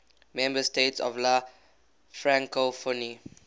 member states of la francophonie